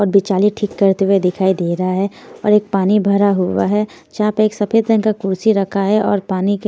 और बिचाली ठीक करते हुए दिखाई दे रहा हैऔर एक पानी भरा हुआ है जहाँ पर एक सफेद रंग का कुर्सी रखा है और पानी के---